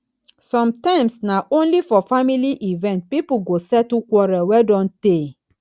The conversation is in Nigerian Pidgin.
sometimes na only for family event people go settle quarrel wey don tey